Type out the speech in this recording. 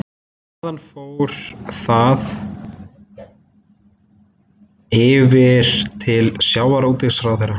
Þaðan fór það yfir til sjávarútvegsráðherra